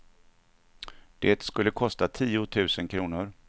Det skulle kosta tio tusen kronor.